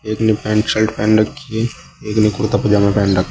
एक ने pant shirt पहन रखी है एक ने कुर्ता पजामा पहन रखा--